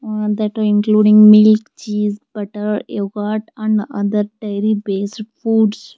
A that including milk cheese butter yogurt and other diary based foods.